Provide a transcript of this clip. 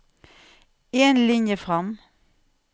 En linje fram